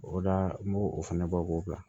O la n b'o o fana bɔ k'o bila